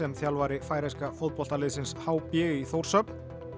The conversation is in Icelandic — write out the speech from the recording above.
þjálfari færeyska h b í Þórshöfn